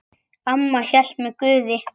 Amma hélt með Guði.